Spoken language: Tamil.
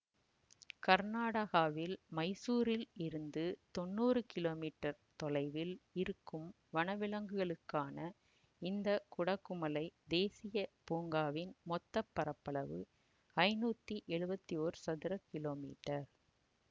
கர்நாடகாவில் மைசூரில் இருந்து தொன்னூறு கிலோமீட்டர் தொலைவில் இருக்கும் வனவிலங்குகளுக்கான இந்த குடகுமலைத் தேசீய பூங்காவின் மொத்த பரப்பளவு ஐநூத்தி எழுவத்தி ஒர் சதுர கிலோமீட்டர்